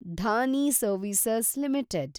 Dhani service limited